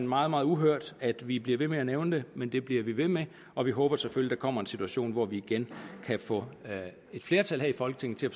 meget meget uhørt at vi bliver ved med at nævne men det bliver vi ved med og vi håber selvfølgelig der kommer en situation hvor vi igen kan få et flertal her i folketinget til at